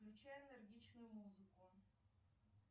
включай энергичную музыку